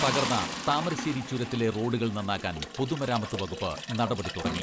തകർന്ന താമരശ്ശേരി ചുരത്തിലെ റോഡുകൾ നന്നാക്കാൻ പൊതുമരാമത്ത് വകുപ്പ് നടപടി തുടങ്ങി.